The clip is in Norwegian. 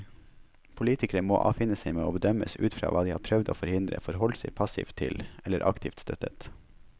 Politikere må avfinne seg med å bedømmes ut fra hva de har prøvd å forhindre, forholdt seg passivt til, eller aktivt støttet.